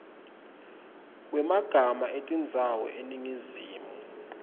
wemagama etindzawo eningizimu